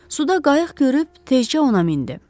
Suda qayıq görüb tezcə ona mindi.